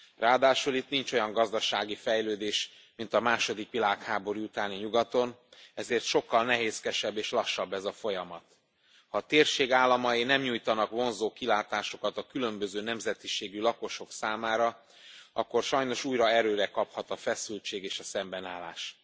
Ráadásul itt nincs olyan gazdasági fejlődés, mint a második világháború utáni nyugaton, ezért sokkal nehézkesebb és lassabb ez a folyamat. Ha a térség államai nem nyújtanak vonzó kilátásokat a különböző nemzetiségű lakosok számára, akkor sajnos újra erőre kaphat a feszültség és a szembenállás.